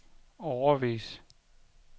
årevis